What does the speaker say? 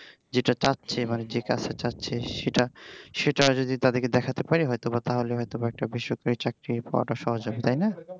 যেইটা চাচ্ছে মানে যে কাজটা চাচ্ছে সেইটা সেটা যদি তাদেরকে দেখাইতে পার হয়তোবা তাহলে হয়তোবা একটা বেসরকারি চাকরি পাওয়া সহজ হয় তাই না?